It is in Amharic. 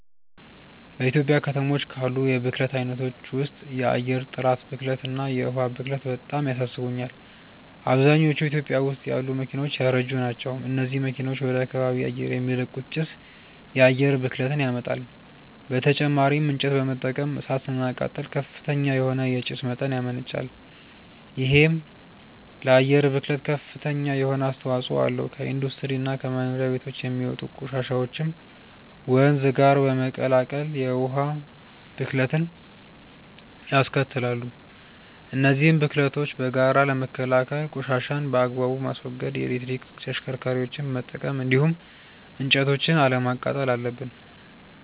በኢትዮጵያ ከተሞች ካሉ የብክለት አይነቶች ውስጥ የአየር ጥራት ብክለት እና የዉሃ ብክለት በጣም ያሳስቡኛል። አብዛኞቹ ኢትዮጵያ ውስጥ ያሉ መኪናዎች ያረጁ ናቸው። እነዚህ መኪናዎች ወደ ከባቢ አየር የሚለቁት ጭስ የአየር ብክለትን ያመጣል። በተጨማሪም እንጨት በመጠቀም እሳት ስናቃጥል ከፍተኛ የሆነ የጭስ መጠን ያመነጫል። ይሄም ለአየር ብክለት ከፍተኛ የሆነ አስተዋጽኦ አለው። ከኢንዱስትሪ እና ከመኖሪያ ቤቶች የሚወጡ ቆሻሻዎችም ወንዝ ጋር በመቀላቀል የውሃ ብክለትንያስከትላሉ። እነዚህን ብክለቶች በጋራ ለመከላከል ቆሻሻን በአግባቡ ማስወገድ፣ የኤሌክትሪክ ተሽከርካሪዎችን መጠቀም እንዲሁም እንጨቶችን አለማቃጠል አለብን።